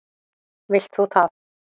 Vilt þú það?